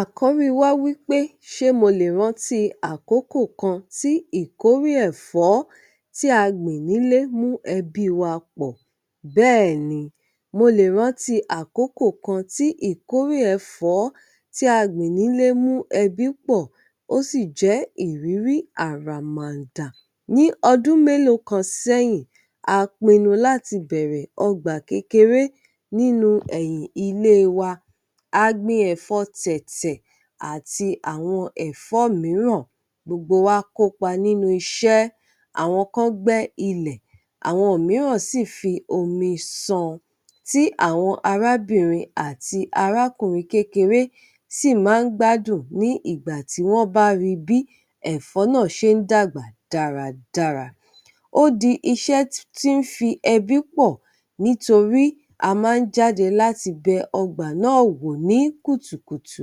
Àkórí wá wí pé ṣé mo lè rántí àkókò kan tí ìkórè ẹ̀fọ́ tí a gbìn nílé mú ẹbí wa pọ̀? Bẹ́ẹ̀ni, mo lè rántí àkókò kan tí ìkórè ẹ̀fọ́ tí a gbìn nílé mú ẹbí pọ̀, ó sì jẹ́ ìrírí àràmàǹdà. Ní ọdún mélòó kan sẹ́yìn, a pinnu láti bẹ̀rẹ̀ ọgbà kékeré nínú ẹ̀yìn ilé wa. A gbin ẹ̀fọ́ Tẹ̀tẹ̀ àti àwọn ẹ̀fọ́ mìíràn. Gbogbo wa kópa nínú iṣẹ́. Àwọn kan gbẹ́ ilẹ̀, àwọn mìíràn sì fi omi san, tí àwọn arábìnrin àti arákùnrin kékeré sì máa ń gbádùn ní ìgbà tí wọ́n bá ri bí ẹ̀fọ́ náà ṣe ń dàgbà dáradára. Ó di iṣẹ́ tí ń fi ẹbí pọ̀ nítorí a máa ń jáde láti bẹ ọgbà náà wò ní kùtùkùtù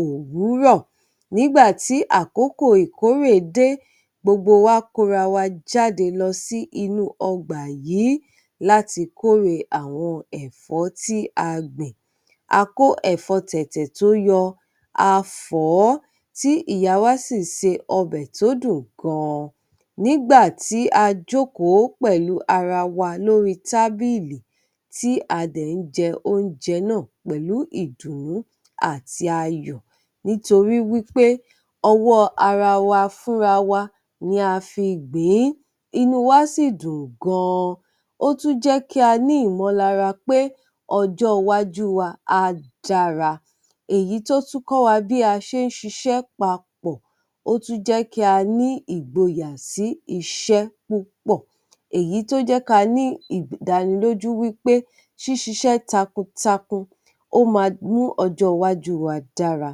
òwúrọ̀. Nígbà tí àkókò ìkórè dé, gbogbo wa kóra wa jáde lọ sí inú ọgbà yìí láti kórè àwọn ẹ̀fọ́ tí a gbìn. A kó ẹ̀fọ́ Tẹ̀tẹ̀ tó yọ, a fọ̀ ọ́ tí ìyá wa sì se ọbẹ̀ tó dùn gan-an. Nígbà tí a jókòó pẹ̀lú ara wa lórí tábìlì tí a dẹ̀ ń jẹ oúnjẹ náà pẹ̀lú ìdùnnú àti ayọ̀, nítorí wí pé ọwọ́ ara wa fúnra wa ni a fi gbìn-ín, inú wa sì dùn gan-an, ó tún jẹ́ kí a ní ìmọlara pé ọjọ́-wájú wa á dára. Èyí tó tún kọ́ wa bí a ṣe ń ṣiṣẹ́ papọ̀, ó tún jẹ́ kí a ní ìgboyà sí iṣẹ́ púpọ̀. Èyí tó jẹ́ ka ní ìdánilójú wí pé ṣíṣiṣẹ́ takuntakun, ó máa mú ọjọ́ iwájú wa dára.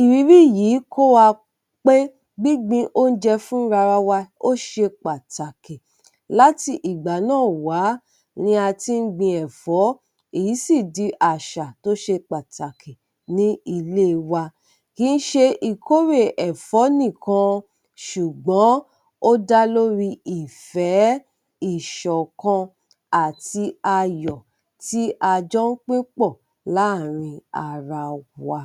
Ìrírí yìí kọ́ wa pé, gbígbin oúnjẹ fúnra ra wa ó ṣe pàtàkì. Láti ìgbà náà wá ni a ti ń gbin ẹ̀fọ́, èyí sì di àṣà tó ṣe pàtàkì ní ilé e wa. Kì ń ṣe ìkórè ẹ̀fọ́ nìkan, ṣùgbọ́n, ó dá lórí ìfẹ́, ìṣọ̀kan àti ayọ̀ tí a jọ ń pín pọ̀ láàárín ara wa.